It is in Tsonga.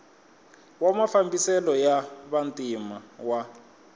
wa mafambiselo ya vantima wa